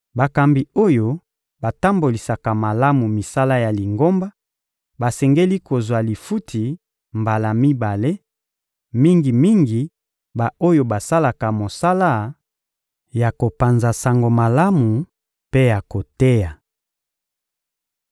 Bakambi oyo batambolisaka malamu misala ya Lingomba basengeli kozwa lifuti mbala mibale, mingi-mingi ba-oyo basalaka mosala ya kopanza Sango malamu mpe ya koteya.